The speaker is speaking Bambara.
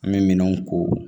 An bɛ minɛnw ko